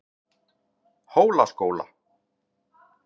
Hólaskóla